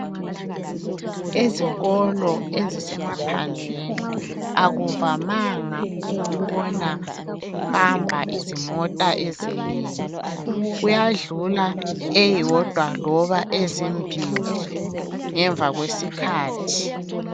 Ezikolo ezisemaphandleni, akuvamanga ukubona kuhamba izimota ezinengi. Kuyadlula eyodwa loba ezimbili ngemva kwesikhathi.